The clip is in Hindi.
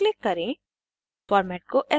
save as पर क्लिक करें